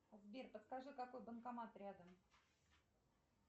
сбер подскажи какой банкомат рядом